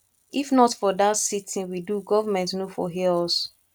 if not for dat sitin we do government no for hear us